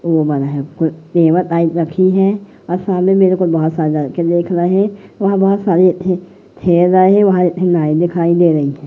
रखी है और सामने मेरे को बहुत सारे लड़के देख रहे वहां बहुत सारे खेल रहे हैं वहां दिखाई दे रही है।